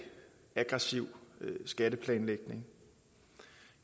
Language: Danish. aggressiv skatteplanlægning